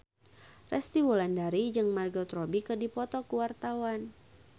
Resty Wulandari jeung Margot Robbie keur dipoto ku wartawan